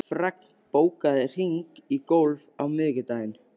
Fregn, bókaðu hring í golf á miðvikudaginn.